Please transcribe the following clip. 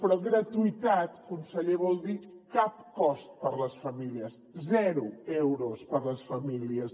però gratuïtat conseller vol dir cap cost per a les famílies zero euros per a les famílies